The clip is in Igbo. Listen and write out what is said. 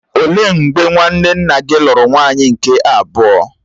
Ó lee mgbe nwanne nna gị lụrụ nwaanyị nke abụọ?